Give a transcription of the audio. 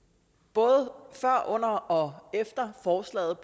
både før under og efter forslaget